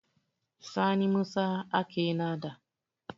Sani Musa aka nada.